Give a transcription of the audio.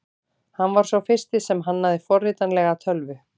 Hann var sá fyrsti sem hannaði forritanlega tölvu.